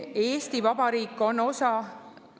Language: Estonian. Eesti Vabariik on osa …